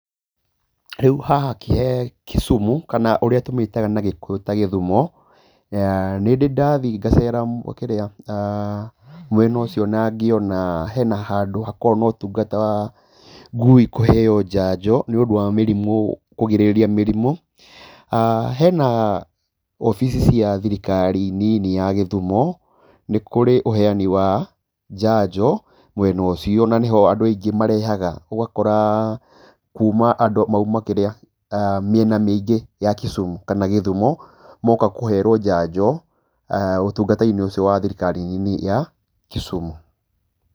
Rĩu haha Kisumu, kana ũrĩa tũmĩtaga na gĩkũyũ ta Gĩthumo, nĩ ndĩ ndathiĩ ngacera mwena ũcio na ngĩona hena handũ hakoragwo notungata ngui kũheeo njanjo nĩũndũ wakũgirĩrĩria mĩrimũ, hena obici cia thirikari nini ya Kisumu, nĩ kũrĩ ũheani wa njanjo mwena ũcio na niho andũ aingĩ marehaga ũgakora andũ mauma kĩrĩa, mĩena mĩingĩ ya Kisumu kana Githumo, moka kũherwo njanjo ũtungata-inĩ ũcio wa thirikari nini ya Kisumu